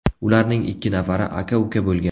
Ularning ikki nafari aka-uka bo‘lgan.